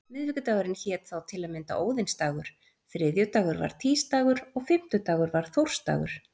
Miðvikudagurinn hét þá til að mynda óðinsdagur, þriðjudagur var týsdagur og fimmtudagur var þórsdagur.